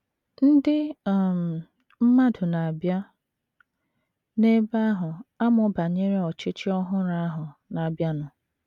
Ndị um mmadụ na - abịa n’ebe ahụ amụ banyere ọchịchị ọhụrụ ahụ na - abịanụ.